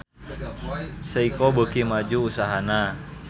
Seiko beuki maju usahana